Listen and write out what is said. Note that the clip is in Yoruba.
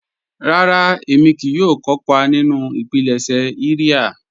Rárà, ẹ̀mí kíì yóò kọ́pà nínu ìpílẹ̀ṣẹ̀ ìria.